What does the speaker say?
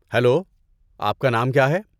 Hello, آپ کا نام کیا ہے؟